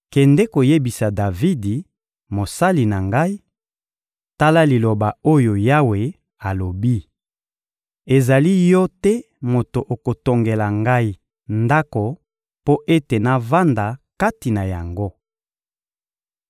— Kende koyebisa Davidi, mosali na Ngai: «Tala liloba oyo Yawe alobi: ‹Ezali yo te moto okotongela Ngai ndako mpo ete navanda kati na yango.